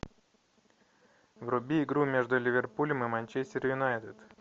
вруби игру между ливерпулем и манчестер юнайтед